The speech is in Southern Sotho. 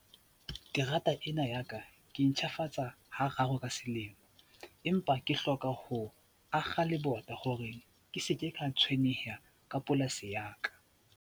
Ke rata ena ya ka, ke ntjhafatsa ha raro ka selemo empa ke hloka ho akga lebota hore ke seke ka tshwenyeha ka polasi ya ka.